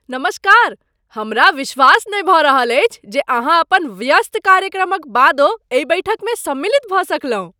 नमस्कार! हमरा विश्वास नहि भऽ रहल अछि जे अहाँ अपन व्यस्त कार्यक्रमक बादो एहि बैठकमे सम्मिलित भऽ सकलहुँ।